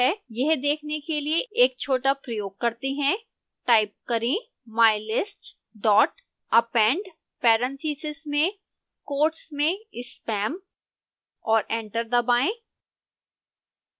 यह देखने के लिए एक छोटा प्रयोग करते हैं टाइप करें mylist dot append parentheses में quotes में spam और एंटर दबाएं